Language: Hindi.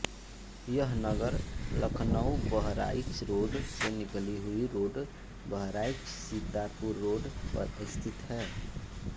यह नगर लखनऊबहराइच रोड से निकली हुई रोड बहराइचसीतापुर रोड पर स्थित है